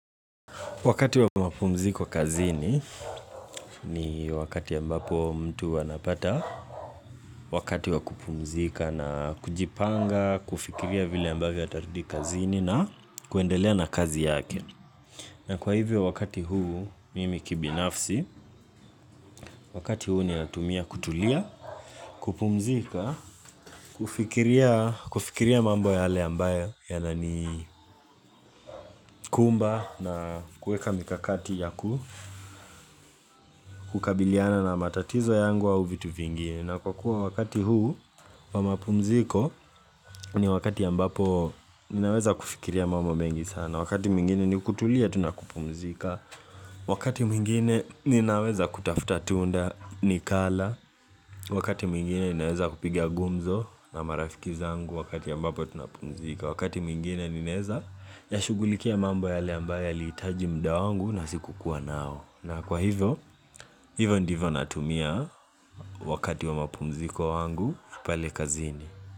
Wakati wa mapumziko kazini ni wakati ambapo mtu anapata Wakati wa kupumzika na kujipanga, kufikiria vile ambayo atarudi kazini na kuendelea na kazi yake na kwa hivyo wakati huu, mimi kibinafsi, wakati huu ninatumia kutulia, kupumzika, kufikiria mambo yale ambayo yana ni kumba na kuweka mikakati ya kukabiliana na matatizo yangu au vitu vingine na kwa kuwa wakati huu wa mapumziko ni wakati ambapo ninaweza kufikiria mambo mengi sana Wakati mwingine ni kutulia tu nakupumzika Wakati mwingine ninaweza kutafuta tunda nikala Wakati mwingine ninaweza kupigia gumzo na marafiki zangu wakati ambapo tunapumzika Wakati mwingine ninaeza yashugulikia mambo yale ambayo yaliitaji muda wangu na sikukuwa nao na kwa hivyo, hivyo ndivyo natumia wakati wa mapumziko wangu pale kazini.